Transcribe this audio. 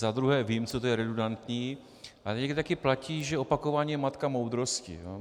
Za druhé vím, co to je redundantní, ale někdy také platí, že opakování je matka moudrosti.